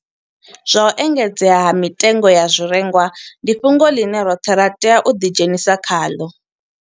Zwa u engedzea ha mitengo ya zwirengwa ndi fhungo ḽine roṱhe ra tea u ḓidzhenisa khaḽo.